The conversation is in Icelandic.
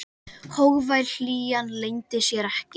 Hógvær hlýjan leyndi sér ekki.